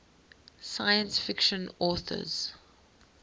science fiction authors